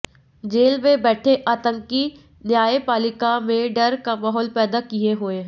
jail में बैठे आतंकी न्यायपालिका में डर का माहौल पैदा किए हुए हैं